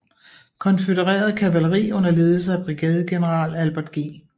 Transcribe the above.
Konfødereret kavaleri under ledelse af brigadegeneral Albert G